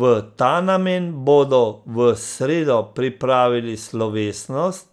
V ta namen bodo v sredo pripravili slovesnost,